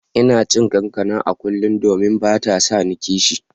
Ina cin kankana a kullum, domin bata sani kishi.